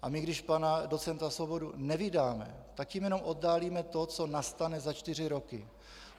A my, když pana docenta Svobodu nevydáme, tak tím jenom oddálíme to, co nastane za čtyři roky.